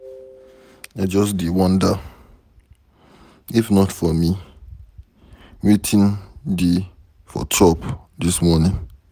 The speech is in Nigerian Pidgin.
I just dey wonder, if not for me wetin dey for chop dis morning.